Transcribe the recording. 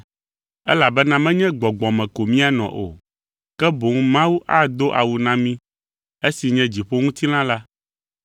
Elabena menye gbɔgbɔ me ko míanɔ o, ke boŋ Mawu ado awu na mí esi nye dziƒoŋutilã la.